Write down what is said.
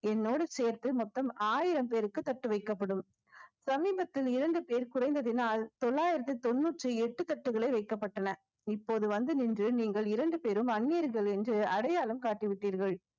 என்னோடு சேர்த்து மொத்தம் ஆயிரம் பேருக்கு தட்டு வைக்கப்படும் சமீபத்தில் இரண்டு பேர் குறைந்ததினால் தொள்ளாயிரத்தி தொண்ணூற்றி எட்டு தட்டுகளே வைக்கப்பட்டன இப்போது வந்து நின்று நீங்கள் இரண்டு பேரும் அந்நியர்கள் என்று அடையாளம் காட்டி விட்டீர்கள்